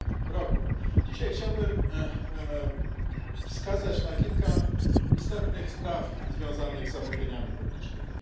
r. Dzisiaj chciałbym wskazać na kilka istotnych spraw związanych z zamówieniami publicznymi.